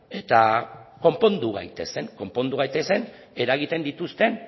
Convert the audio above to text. eta konpondu gaitezen konpondu gaitezen eragiten dituzten